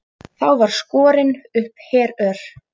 Þá var skorin upp herör.